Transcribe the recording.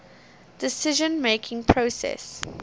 decision making process